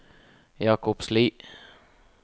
Jakobsli